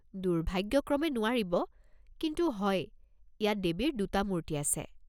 দুৰ্ভাগ্যক্ৰমে নোৱাৰিব, কিন্তু হয়, ইয়াত দেৱীৰ দুটা মূৰ্তি আছে।